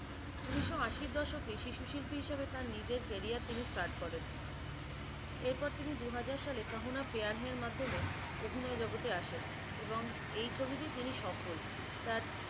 উনিশশো আশি এর দশকে শিশু শিল্পি হিসাবে তার নিজের কারিয়ার তিনি start করেন। এরপর তিনি দুহাজার সাল kaho na pyaar hai এর মাধমে অভিনয় জগতে আসে এবং এই ছবিতে তিনি সফল। তার